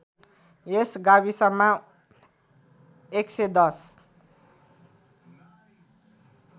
यस गाविसमा ११०